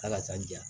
Ala ka jɛ